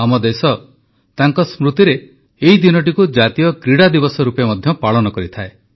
ଆମ ଦେଶ ତାଙ୍କ ସ୍ମୃତିରେ ଏହି ଦିନଟିକୁ ଜାତୀୟ କ୍ରୀଡ଼ା ଦିବସ ରୂପେ ମଧ୍ୟ ପାଳନ କରିଥାଏ